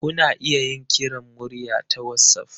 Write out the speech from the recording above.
Kuna iya yin kiran murya ta wassaf.